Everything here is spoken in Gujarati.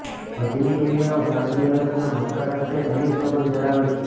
હજની ક્રિયાઓ સાઉદી અરબના મક્કા સાથે ઘનિષ્ઠ સંબંધ ધરાવે છે